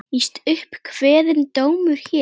Víst upp kveðinn dómur hér.